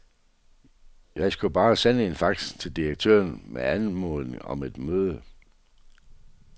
Jeg skulle bare sende en fax til direktøren med anmodning om et møde.